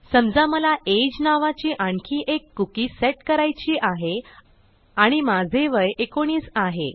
समजा मला ageनावाची आणखी एक cookieसेट करायची आहे आणि माझे वय 19आहे